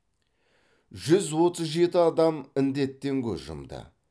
жүз отыз жеті адам індеттен көз жұмды